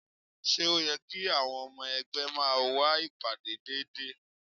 Ṣé ó yẹ kí àwọn ọmọ ẹgbẹ́ máa wá ìpàdé déédéé?